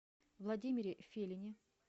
владимире филине